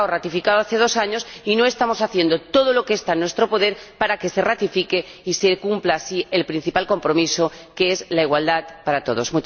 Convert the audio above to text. un tratado firmado desde hace dos años y no estamos haciendo todo lo que está en nuestro poder para que se ratifique y se cumpla así el principal compromiso, que es la igualdad para todos.